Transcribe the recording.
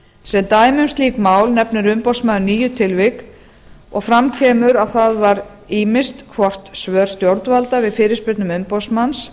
sem dæmi um slík mál nefnir umboðsmaður níu tilvik og fram kemur að það var ýmist hvort svör stjórnvalda við fyrirspurnum umboðsmanns